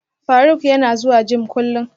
Faruk yana zuwa gym kullum